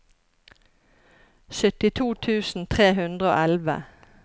syttito tusen tre hundre og elleve